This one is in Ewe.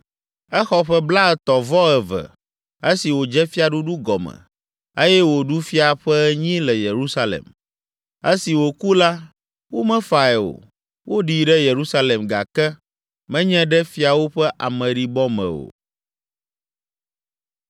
Exɔ ƒe blaetɔ̃-vɔ-eve esi wòdze fiaɖuɖu gɔme eye wòɖu fia ƒe enyi le Yerusalem. Esi wòku la, womefae o, woɖii ɖe Yerusalem gake menye ɖe fiawo ƒe ameɖibɔ me o.